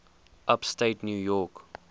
upstate new york